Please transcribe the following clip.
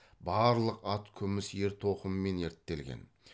барлық ат күміс ер тоқыммен ерттелген